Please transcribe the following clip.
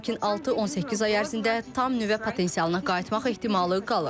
Lakin 6-18 ay ərzində tam nüvə potensialına qayıtmaq ehtimalı qalır.